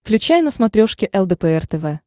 включай на смотрешке лдпр тв